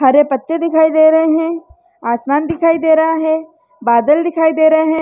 हरे पत्ते दिखाई दे रहे हैं आसमान दिखाई दे रहा है बादल दिखाई दे रहे हैं।